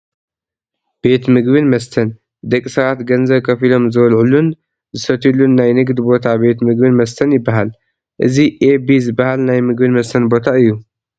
ቤት ምግብን መስተን፡- ደቂ ሰባት ገንዘብ ከፊሎም ዝበልዑሉን ዝሰትዩሉን ናይ ንግዲ ቦታ ቤት ምግብን መስተን ይባሃል፡፡ እዚ ኤ ቢ ዝባሃል ናይ ምግብን መስተን ቦታ እዩ፡፡